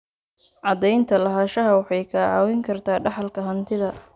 Cadaynta lahaanshaha waxay kaa caawin kartaa dhaxalka hantida.